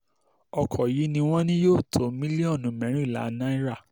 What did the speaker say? ọkọ̀ yìí ni wọ́n ní yóò tó mílíọ̀nù mẹ́rìnlá náírà